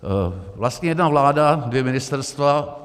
Vlastně jedna vláda, dvě ministerstva.